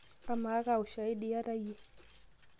amaaa kaa ushaidi iyata iyie